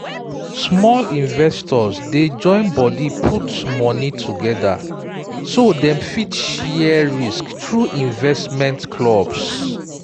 small investors dey join body put money together so dem fit share risk through investment clubs